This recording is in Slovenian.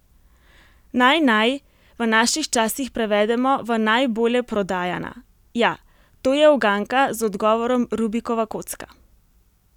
Naj naj, v naših časih prevedemo v najbolje prodajana, ja, to je uganka z odgovorom rubikova kocka.